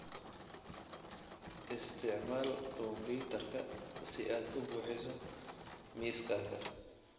Isticmaal kombiyuutarka si aad u buuxiso miiskaaga.